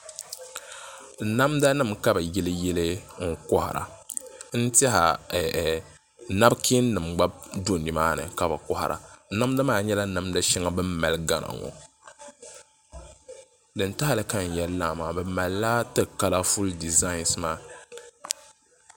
Namda nim ka bi yili yili n kohara n tiɛha nabkiin nim gba do nimaani ka bi kohara namda maa nyɛla namda shɛŋa bin mali gana ŋɔ din tahali ka n yɛli laa ŋɔ bi malila ti kalaful dizain ŋɔ